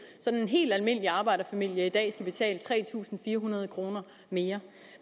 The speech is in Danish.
sådan at en helt almindelig arbejderfamilie i dag skal betale tre tusind fire hundrede kroner mere